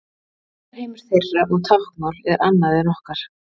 Hugarheimur þeirra og táknmál er annað en okkar.